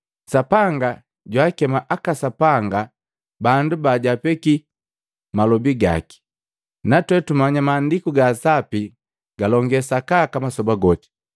Sapanga jwaakema aka sapanga bandu bajwaapeki malobi gaki, natwe tumanya Maandiku gaa Sapi galonge sakaka masoba goti.